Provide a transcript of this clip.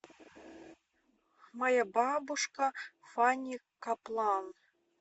моя бабушка фанни каплан